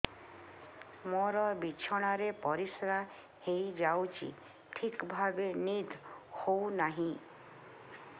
ମୋର ବିଛଣାରେ ପରିସ୍ରା ହେଇଯାଉଛି ଠିକ ଭାବେ ନିଦ ହଉ ନାହିଁ